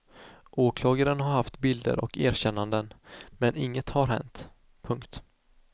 Åklagaren har haft bilder och erkännanden men inget har hänt. punkt